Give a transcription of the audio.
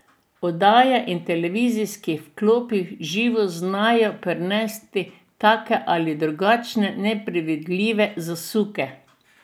Oddaje in televizijski vklopi v živo znajo prinesti take ali drugačne nepredvidljive zasuke.